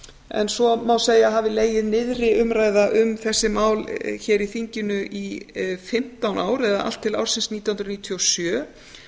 en svo má segja að hafi legið niðri um þessi mál hér í þinginu í fimmtán ár eða allt til ársins nítján hundruð níutíu og sjö